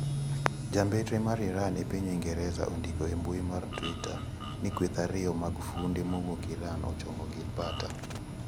Jambetre mar Iran epiny Uingereza ondiko e mbui mar twitter ni kweth ariyo mag funde mowuok Iran ochomo Gibraltar.